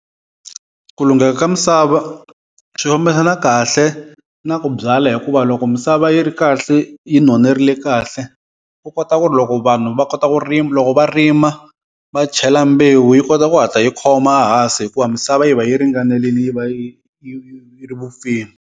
Ku lungheka ka misava swi fambisana kahle na ku byala hikuva loko misava yi ri kahle yi nonerile kahle, u kota ku ri loko vanhu va kota ku rima loko va rima va chela mbewu yi kota ku hatla yi khoma hansi hikuva misava yi va yi ringanelini yi va yi yi yi ri vupfile.